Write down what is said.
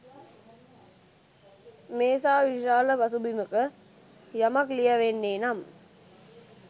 මේ සා විශාල පසුබිමක යමක් ලියැවෙන්නේ නම්